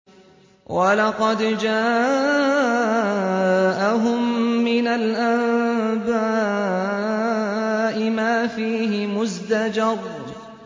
وَلَقَدْ جَاءَهُم مِّنَ الْأَنبَاءِ مَا فِيهِ مُزْدَجَرٌ